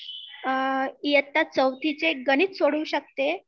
इयत्ता ४चे गणित सोडवु शकते